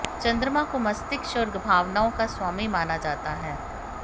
चंद्रमा को मस्तिष्क और भावनाओं का स्वामी माना जाता है